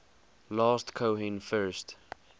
last cohen first